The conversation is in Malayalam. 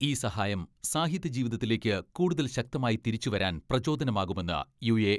ഈ സഹായം സാഹിത്യ ജീവിതത്തിലേക്ക് കൂടുതൽ ശക്തമായി തിരിച്ചുവരാൻ പ്രചോദനമാകുമെന്ന് യു.എ.